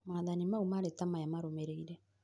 maathani mau marĩ ta maya marũmĩrĩire